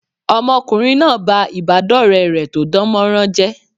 Ọmọkùnrin náà ba ìbádọ́ọ̀rẹ́ rẹ̀ tó dánmọrán jẹ́